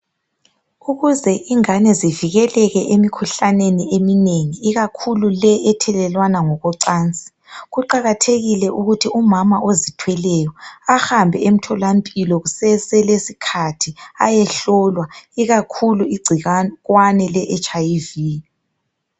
Ukuze ingane zivikeleke emkhuhlaneni eminengi ikakhulu le ethelelwana ngokocansi kuqakathekile ukuthi umama ozithweleyo ahambe emtholampilo kuseselesikhathi ayehlolwa ikakhulu igcikwane leHIV.